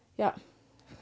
ja